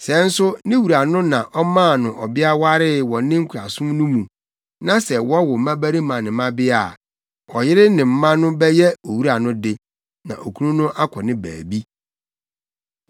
Sɛ nso ne wura no na ɔmaa no ɔbea waree wɔ ne nkoasom no mu, na sɛ wɔwo mmabarima ne mmabea a, ɔyere ne mma no bɛyɛ owura no de, na okunu no akɔ ne baabi.